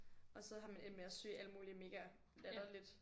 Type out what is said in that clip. Og så har man endt med at søge alt muligt mega latterligt